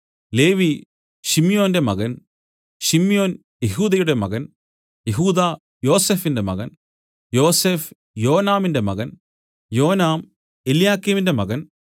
ലേവി ശിമ്യോന്റെ മകൻ ശിമ്യോൻ യെഹൂദയുടെ മകൻ യെഹൂദാ യോസഫിന്റെ മകൻ യോസഫ് യോനാമിന്റെ മകൻ യോനാം എല്യാക്കീമിന്റെ മകൻ